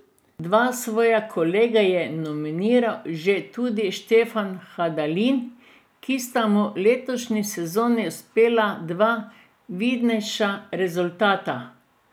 Dva svoja kolega je nominiral že tudi Štefan Hadalin, ki sta mu v letošnji sezoni uspela dva vidnejša rezultata.